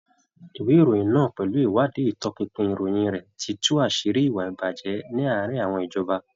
Ìwé ìròyìn náà pẹ̀lú ìwádìí ìtọpinpin ìròyìn rẹ̀ ti tú àṣírí ìwà ìbàjẹ́ ní àárín àwọn ìjọba.